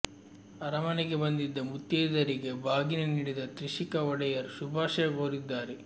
ಅರಮನೆಗೆ ಬಂದಿದ್ದ ಮುತ್ತೈದೆಯರಿಗೆ ಬಾಗಿನ ನೀಡಿದ ತ್ರಿಷಿಕಾ ಒಡೆಯರ್ ಶುಭಾಶಯ ಕೋರಿದ್ದಾರೆ